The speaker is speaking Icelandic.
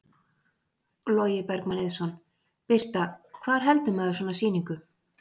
Logi Bergmann Eiðsson: Birta, hvar heldur maður svona sýningu?